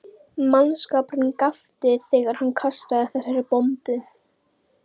Mannskapurinn gapti þegar hann kastaði þessari bombu.